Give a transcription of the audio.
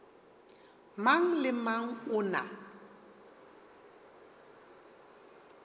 mang le mang o na